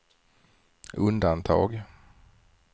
undantag